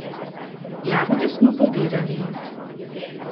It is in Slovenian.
Jagode smo pobirali.